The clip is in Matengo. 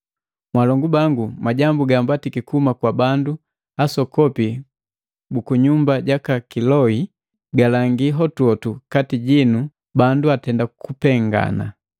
Mwalongu bangu majambu gambatiki kuhuma kwa bandu asokopi bukunyumba jaka Kiloi, jilangi hotuhotu kati jinu bandu atenda kupengana.